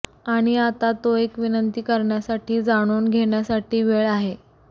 आणि आता तो एक विनंती करण्यासाठी जाणून घेण्यासाठी वेळ आहे